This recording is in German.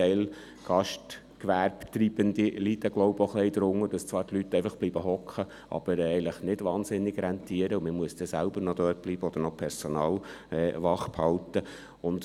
Ein Teil der Gastgewerbebetreibenden leidet, so glaube ich, auch ein wenig darunter, dass die Leute zwar einfach sitzen bleiben, aber eigentlich nicht wahnsinnig rentieren, sodass man dann selber noch dort bleiben oder Personal wachhalten muss.